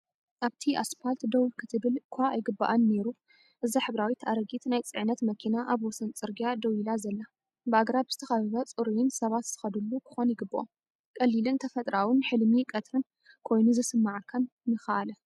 ኣብቲ ኣስፓልት ደው ክትብል እኳ ኣይግባኣን ነይሩ እዛ ሕብራዊት ኣረጊት ናይ ጽዕነት መኪና ኣብ ወሰን ጽርግያ ደው ኢላ ዘላ። ብኣግራብ ዝተኸበበ ፅሩይን ሰባት ዝኸዱሉ ክኾን ይግበኦ። ቀሊልን ተፈጥሮኣውን ሕልሚ ቀትሪን ኮይኑ ዝስማዓካን ንኻኣለ።